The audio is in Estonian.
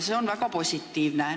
See on väga positiivne.